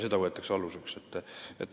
See võetakse aluseks.